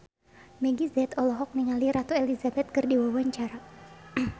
Meggie Z olohok ningali Ratu Elizabeth keur diwawancara